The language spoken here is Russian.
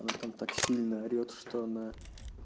ну там так сильно орет что она